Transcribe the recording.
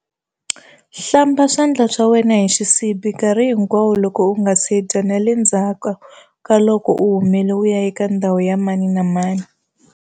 Hlamba swandla swa wena hi xisibi nkarhi hinkwawo loko u nga si dya na le ndzhaku ka loko u humile u ya eka ndhawu ya mani na mani.